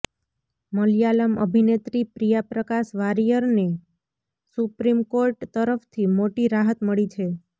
મલયાલમ અભિનેત્રી પ્રિયા પ્રકાશ વારિયરને supreme court તરફથી મોટી રાહત મળી છે